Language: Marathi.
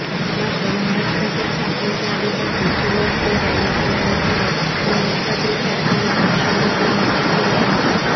मात्र महाराष्ट्राच्या स्थापनेच्या आधीपासून सुरू असलेल्या या लढ्याकडे महाराष्ट्रातील शासनाने अक्षम्य दुर्लक्ष केले आहे